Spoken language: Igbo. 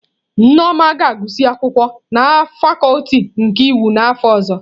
Nneoma ga-agụsị akwụkwọ na fakuti nke iwu n'afọ ọzọ.